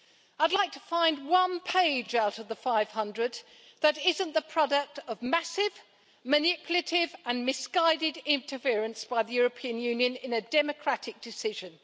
I'd like to find one page out of the 500 that isn't the product of massive, manipulative and misguided interference by the European Union in a democratic decision.